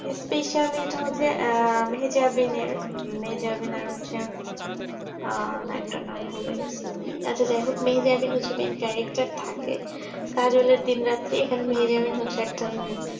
especially ইটা হচ্ছে মেজাবিন এর মেহেজাবিনের হচ্ছে আহ নায়ক তার নাম ভুলে গিয়েছি আচ্ছা যাই যোগ মেহেজাবিন হচ্ছে main character থাকে কাজলের দিন রাত্রি এখানে মেহেজাবিন হচ্ছে